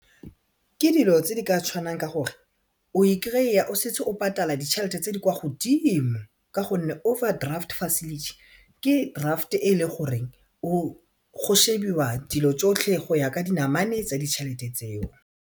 Ke dilo tse di ka tshwanang ka o e kry-a o setse o patala ditšhelete tse di kwa godimo ka gonne overdraft facility ke draft e le goreng go shebiwa dilo tsotlhe go ya ka dinamane tsa ditšhelete tseo.